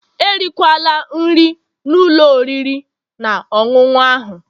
Erikwala nri na ụlọ oriri na ọṅụṅụ ahu